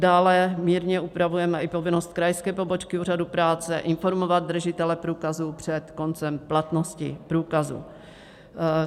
Dále mírně upravujeme i povinnost krajské pobočky úřadu práce informovat držitele průkazu před koncem platnosti průkazu.